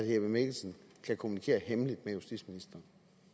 jeppe mikkelsen kan kommunikere hemmeligt med justitsministeren